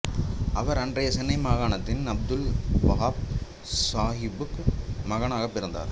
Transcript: அவர் அன்றைய சென்னை மாகாணத்தில் அப்துல் வஹாப் சாஹிபுக்கு மகனாக பிறந்தார்